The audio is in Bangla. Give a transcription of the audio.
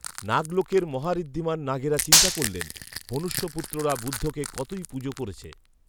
নাগলোকের মহাঋদ্ধিমান নাগেরা চিন্তা করলেন মনুষ্য পুত্ররা বুদ্ধকে কতই পুজো করেছে